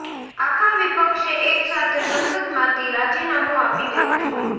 આખા વિપક્ષે એક સાથે સંસદમાંથી રાજીનામુ આપી દેવું જોઈએ